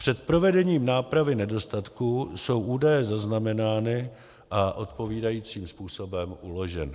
Před provedením nápravy nedostatků jsou údaje zaznamenány a odpovídajícím způsobem uloženy.